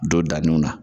Don daninw na